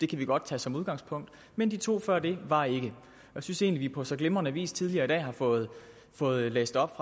kan vi godt tage som udgangspunkt men de to før det var ikke jeg synes egentlig på så glimrende vis tidligere i dag har fået fået læst op